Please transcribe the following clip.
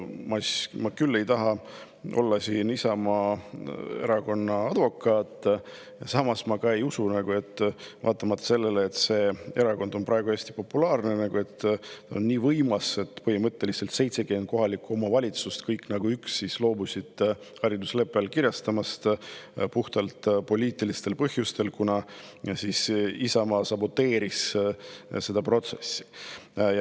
Ma küll ei taha siin olla Isamaa Erakonna advokaat, aga ma ei usu, et vaatamata sellele, et see erakond on praegu hästi populaarne ja võimas, 70 kohalikku omavalitsust nagu üks loobusid haridusleppe allkirjastamisest puhtalt poliitilistel põhjustel, kuna Isamaa saboteeris seda protsessi.